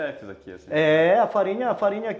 É, a farinha a farinha